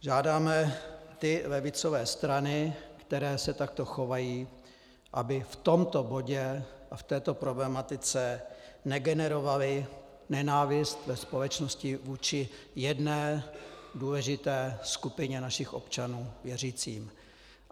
Žádáme ty levicové strany, které se takto chovají, aby v tomto bodě a v této problematice negenerovaly nenávist ve společnosti vůči jedné důležité skupině našich občanů - věřícím.